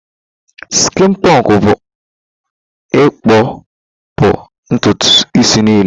Skịn pọnkụ bụ ịkpụ puu ntutu isi niile.